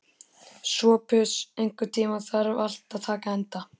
Sophus, einhvern tímann þarf allt að taka enda.